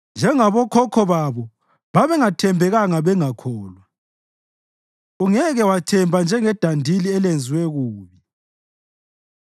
Njengabokhokho babo babengathembekanga bengakholwa, ungeke wathemba njengedandili elenziwe kubi.